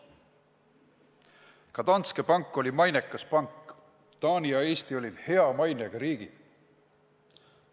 Ka Danske Bank oli mainekas pank, Taani ja Eesti olid hea mainega riigid.